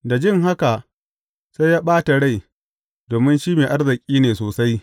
Da jin haka, sai ya ɓata rai, domin shi mai arziki ne sosai.